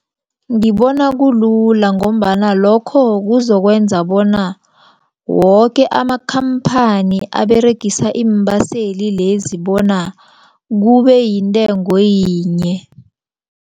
Ngibona kulula ngombana lokho kuzokwenza bona woke amakhamphani aberegisa iimbaseli lezi bona kube yintengo yinye.